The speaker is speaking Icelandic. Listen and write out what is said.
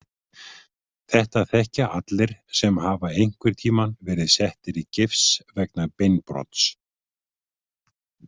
Þetta þekkja allir sem hafa einhverntíma verið settir í gifs vegna beinbrots.